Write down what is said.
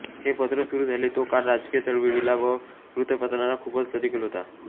हे पत्र सुरू झाले तो काळ राजकीय चळवळीला व वृत्तपत्रांना खूपच प्रतिकूल होता